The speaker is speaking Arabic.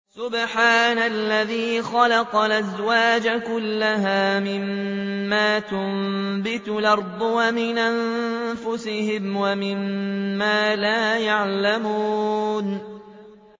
سُبْحَانَ الَّذِي خَلَقَ الْأَزْوَاجَ كُلَّهَا مِمَّا تُنبِتُ الْأَرْضُ وَمِنْ أَنفُسِهِمْ وَمِمَّا لَا يَعْلَمُونَ